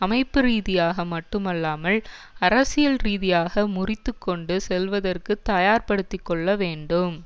அமைப்புரீதியாக மட்டுமல்லாமல் அரசியல்ரீதியாக முறித்து கொண்டு செல்வதற்கு தயார் படுத்திக்கொள்ள வேண்டும்